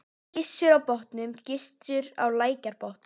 Gissur á Botnum, Gissur á Lækjarbotnum.